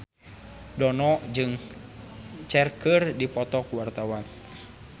Dono jeung Cher keur dipoto ku wartawan